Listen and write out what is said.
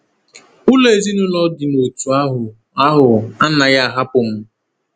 Ụlọ ezinụlọ dị n’òtù ahụ ahụ anaghị ahapụ m.